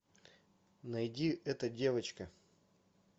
найди эта девочка